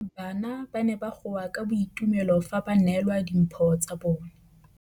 Bana ba ne ba goa ka boitumelo fa ba neelwa dimphô tsa bone.